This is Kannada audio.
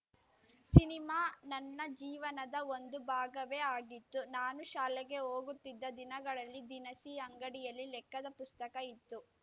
ಸಿನಿಮಾ ನನ್ನ ಜೀವನದ ಒಂದು ಭಾಗವೇ ಆಗಿತ್ತು ನಾನು ಶಾಲೆಗೆ ಹೋಗುತ್ತಿದ್ದ ದಿನಗಳಲ್ಲಿ ದಿನಸಿ ಅಂಗಡಿಯಲ್ಲಿ ಲೆಕ್ಕದ ಪುಸ್ತಕ ಇತ್ತು